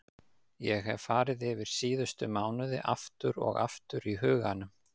Ég hef farið yfir síðustu mánuði aftur og aftur í huganum.